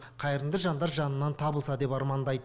қайырымды жандар жанынан табылса екен деп армандайды